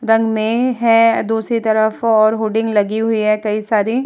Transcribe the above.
रंग में है अ दूसरी तरफ और होर्डिंग लगी हुई है कई सारी।